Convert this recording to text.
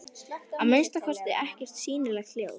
Að minnsta kosti ekkert sýnilegt ljós.